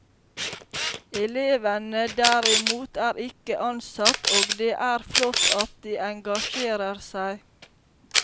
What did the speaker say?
Elevene derimot er ikke ansatt, og det er flott at de engasjerer seg.